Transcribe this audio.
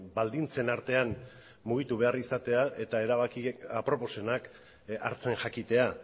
baldintzen artean mugitu behar izatea eta erabaki aproposenak hartzen jakitea